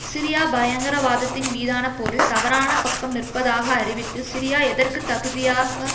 Syria பயங்கரவாதத்தின் மீதான போரில் தவறான பக்கம் நிற்பதாக அறிவித்து சிரியா எதற்குத் தகுதியாக